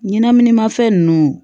Ɲɛnɛminimafɛn nunnu